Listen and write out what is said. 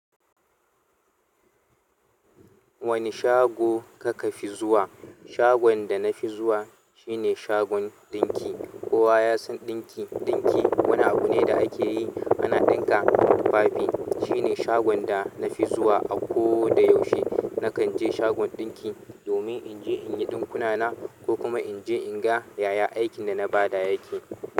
Wane shago kaka fi zuwa? Shagon da na fi zuwa shine shagon ɗinki. Ƙowa ya san ɗinki. Ɗinki wani abu ne da ake yi ana ɗinka tufafi. Shine shagon da na fi zuwa a ko da yaushe. Nakan je shagon ɗinki domin in je in yi ɗinkuna na ko kuma in je in ga yaya aikin da na ba da yake.